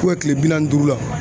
kile bi naani ni duuru la.